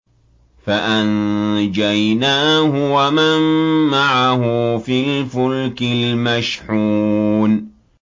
فَأَنجَيْنَاهُ وَمَن مَّعَهُ فِي الْفُلْكِ الْمَشْحُونِ